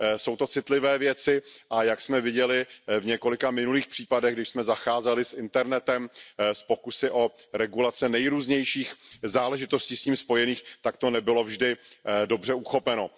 Jsou to citlivé věci a jak jsme viděli v několika minulých případech, když jsme zacházeli s internetem, s pokusy o regulace nejrůznějších záležitostí s tím spojených, tak to nebylo vždy dobře uchopeno.